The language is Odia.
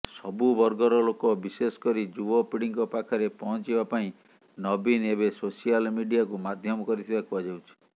ସବୁବର୍ଗର ଲୋକ ବିଶେଷକରି ଯୁବପିଢୀଙ୍କ ପାଖରେ ପହଞ୍ଚିବା ପାଇଁ ନବୀନ ଏବେ ସୋସିଆଲ ମିଡିଆକୁ ମାଧ୍ୟମ କରିଥିବା କୁହାଯାଉଛି